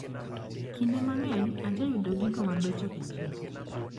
Kinde mang`eny ajayudo gigo mabecho e chiro.